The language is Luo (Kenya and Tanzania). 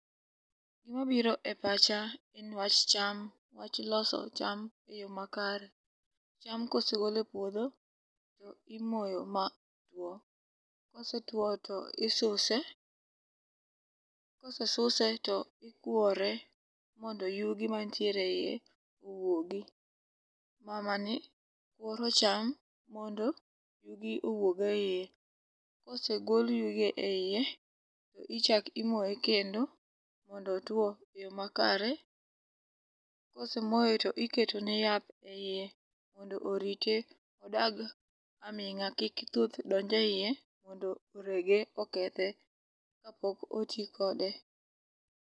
Gimabiro e pacha en wach cham wach loso cham e yo makare. Cham kosegol e puodho to imoyo ma two. Kosetwo to isuse kosesuse to ikwore mondo yugi mantiere iye owuogi mamani kuoro cham mondo yugi owuog e iye, kosegol yugi e iye tichak imoye kendo mondo otwo e yo makare, kosemoye to iketone yath e iye ondo orite odag aming'a kik thuth donj e iye mondo orege okethe kapok oti kode.